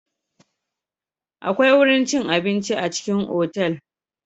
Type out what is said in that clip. Akwai wurin cin abinci a cikin otal.